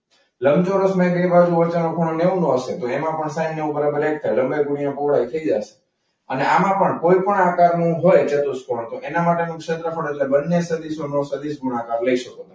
લંબચોરસને બે બાજુ હોય છે અને ખૂણો નેવ નો હશે તો એમાં પણ સાઇન નેવ બરાબર એક થાય. લંબાઈ ગુણ્યા પહોળાઈ થઈ જશે. અને આમાં પણ કોઈ પણ આકારનું હોય ચતુષ્કોણ તો એના માટેનું ક્ષેત્રફળ પણ એટલે બંને સદિશોનો સદિશ ગુણાકાર લઈ શકો તમે.